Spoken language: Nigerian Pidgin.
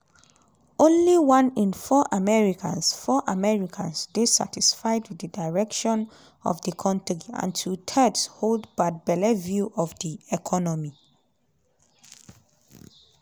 only one in four americans four americans dey satisfied wit di direction of di kontri and two-thirds hold bad belle view of di economy.